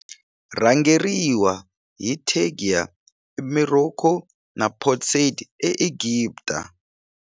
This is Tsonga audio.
Rhangeriwa hi Tangier eMorocco na Port Said eEgipta.